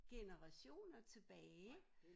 Generationer tilbage